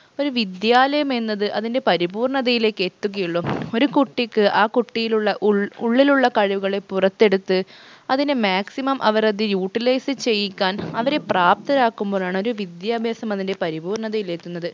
ഒരു വിദ്യാലയം എന്നത് അതിൻറെ പരിപൂർണതയിലേക്ക് എത്തുകയുള്ളു ഒരു കുട്ടിക്ക് ആ കുട്ടിയിലുള്ള ഉൾ ഉള്ളിലുള്ള കഴിവുകളെ പുറത്തെടുത്ത് അതിനെ maximum അവരത് utilise ചെയ്യിക്കാൻ അവരെ പ്രാപ്തരാക്കുമ്പോഴാണ് ഒരു വിദ്യാഭ്യാസം അതിൻറെ പരിപൂർണതയിൽ എത്തുന്നത്